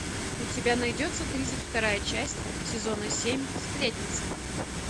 у тебя найдется тридцать вторая часть сезона семь сплетница